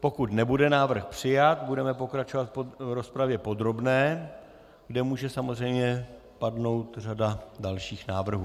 Pokud nebude návrh přijat, budeme pokračovat v rozpravě podrobné, kde může samozřejmě padnout řada dalších návrhů.